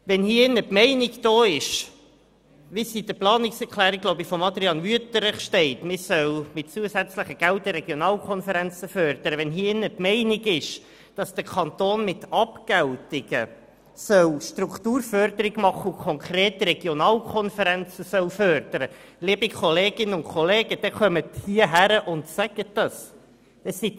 Wenn hier – wie es in der Planungserklärung von Adrian Wüthrich steht – die Meinung vorherrscht, man solle mit zusätzlichen Geldern die Regionalkonferenzen fördern, wenn hier die Meinung besteht, der Kanton solle mit Abgeltungen Strukturförderung betreiben und konkret Regionalkonferenzen fördern – liebe Kolleginnen und Kollegen, dann treten Sie ans Rednerpult und sagen Sie es auch.